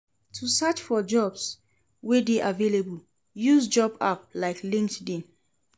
To search for jobs wey de available use job app like LinkedIn